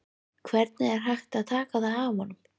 Hvernig er hægt að taka það af honum?